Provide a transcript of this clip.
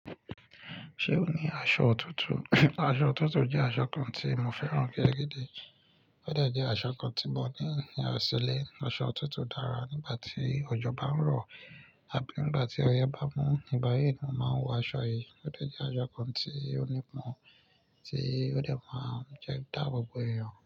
Ṣé o ní aṣọ òtútù? Aṣọ òtútù jẹ́ aṣọ kan tí mo fẹ́ràn gadagada. Ó de jẹ́ aṣọ kan tí mo tí ní ṣílé. Aṣọ òtútù dára nígbà tí òjò bá ń rọ̀ àbí nígbà tí ọyẹ́ bá mú. Ní bayíì, mo máa ń wọ aṣọ yìí. Ó de jẹ́ aṣọ kan tí ó nípọn, tí ó de máa ń dáàbo bo èèyàn.